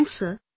Thanks sir